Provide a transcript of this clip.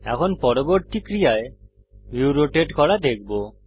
এখন পরবর্তী ক্রিয়ায় ভিউ রোটেট করা দেখব